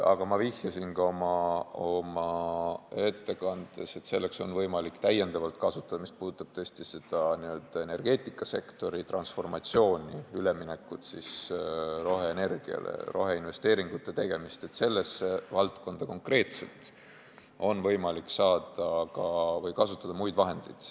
Aga ma vihjasin ka oma ettekandes, et mis puudutab energeetikasektori transformatsiooni, üleminekut roheenergiale, roheinvesteeringute tegemist, siis selles valdkonnas on võimalik kasutada muid vahendeid.